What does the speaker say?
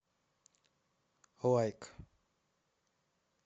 лайк